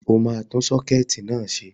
Ó máa tún sọ́kẹ́ẹ̀tì náà ṣe.